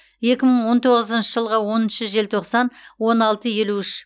екі мың он тоғызыншы жылғы оныншы желтоқсан он алты елу үш